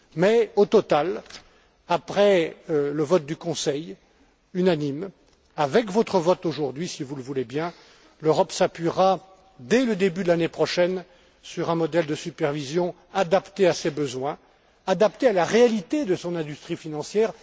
Mais, au total, après le vote unanime du Conseil, avec votre vote d'aujourd'hui si vous le voulez bien, l'Europe s'appuiera, dès le début de l'année prochaine, sur un modèle de supervision adapté à ses besoins et à la réalité de son industrie financière.